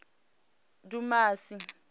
dumasi